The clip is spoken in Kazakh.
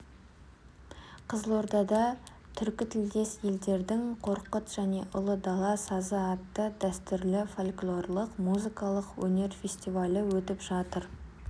қызылордада түркітілдес елдердің қорқыт және ұлы дала сазы атты дәстүрлі фольклорлық музыкалық өнер фестивалі өтіп жатыр